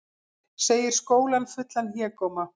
Segir skólann fullan hégóma